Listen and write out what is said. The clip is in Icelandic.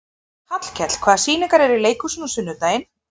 Hallkell, hvaða sýningar eru í leikhúsinu á sunnudaginn?